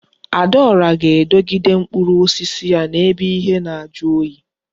Adaora ga-edogide mkpụrụ osisi ya na ebe ihe na aju oyi